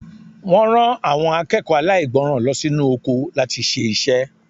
Wọ́n rán àwọn akẹ́kọ̀ọ́ aláìgbọràn lọ sí inú oko láti ṣe iṣẹ́.